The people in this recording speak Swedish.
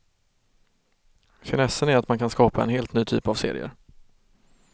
Finessen är att man kan skapa en helt ny typ av serier.